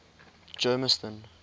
germiston